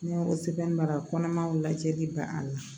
N'i y'o sɛbɛn baara kɔnɔmanw lajɛli ban a la